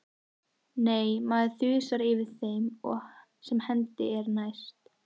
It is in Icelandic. Nei, maður þusar yfir þeim sem hendi er næst.